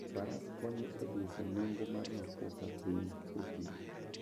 Faras konyo e dwoko nengo mar mafuta piny e thim.